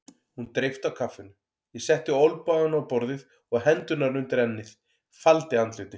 Hún dreypti á kaffinu, ég setti olnbogana á borðið og hendurnar undir ennið, faldi andlitið.